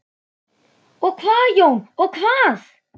Og hvað Jón, og hvað?